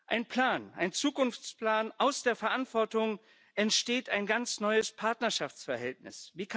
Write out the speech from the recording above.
Ein Plan, ein Zukunftsplan Aus der Verantwortung entsteht ein ganz neues Partnerschaftsverhältnis.